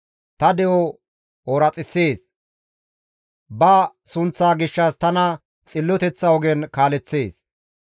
Ta de7o ooraxissees. Ba sunththa gishshas tana xilloteththa ogen kaaleththees.